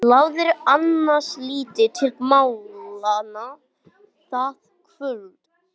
Lagði annars lítið til málanna það kvöld.